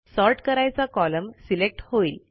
sort करायचा column select होईल